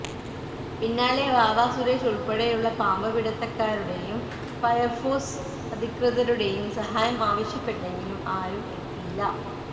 പിന്നാലെ വാവാ സുരേഷ് ഉൾപ്പെടെയുള്ള പാമ്പ് പിടിത്തക്കാരുടെയും ഫയര് ഫോഴ്സ് അധികൃതരുടെയും സഹായം ആവശ്യപ്പെട്ടെങ്കിലും ആരും എത്തിയില്ല